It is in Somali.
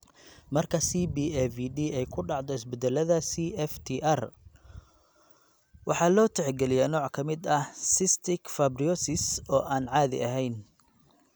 Marka CBAVD ay ku dhacdo isbeddellada CFTR, waxaa loo tixgeliyaa nooc ka mid ah cystic fibrosis oo aan caadi ahayn.